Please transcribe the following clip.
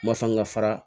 Masaw ka fara